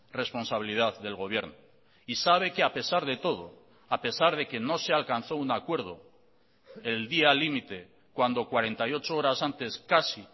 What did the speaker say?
responsabilidad del gobierno y sabe que a pesar de todo a pesar de que no se alcanzó un acuerdo el día limite cuando cuarenta y ocho horas antes casi